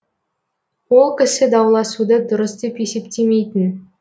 ол кісі дауласуды дұрыс деп есептемейтін